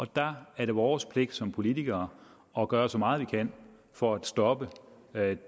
der er det vores pligt som politikere at gøre så meget vi kan for at stoppe